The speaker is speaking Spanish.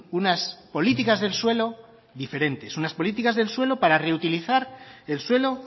unas políticas del suelo diferentes unas políticas del suelo para reutilizar el suelo